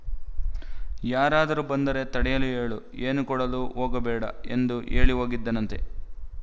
ಯಾರಾದರೂ ಬಂದರೆ ತಡೆಯಲು ಹೇಳು ಏನೂ ಕೊಡಲು ಹೋಗಬೇಡ ಎಂದು ಹೇಳಿ ಹೋಗಿದ್ದನಂತೆ